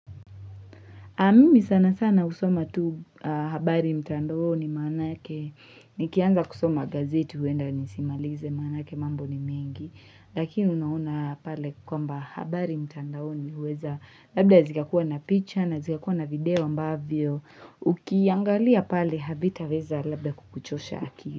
Mimi sana sana husoma tu habari mtandaoni maanake. Nikianza kusoma gazeti huenda nisimalize maanake mambo ni mengi. Lakini unaona pale kwamba habari mtandaoni huweza. Labda zikakuwa na picha na zikakuwa na video ambavyo. Ukiangalia pale havitaweza labda kukuchosha akili.